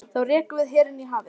Þá rekum við herinn í hafið!